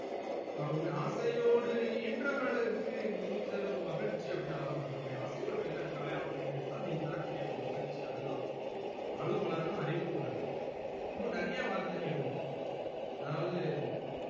ஹம் உன்ன ஆசையோட ஈன்றவளுக்கு நீ தரும் மகிழ்ச்சி அப்டின்னு அழகா பாடுவாங்க உன்ன ஆசையோட பெத்தெடுத்தாலே அவளுக்குதா நீ தரக்கூடிய ஒரு மகிழ்ச்சி அது தான் ஆளும் வளரனும் அறிவும் வளரனும் இன்னும் நெறைய வார்த்தைகள் இருக்கு அதாவது